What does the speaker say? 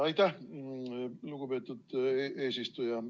Aitäh, lugupeetud eesistuja!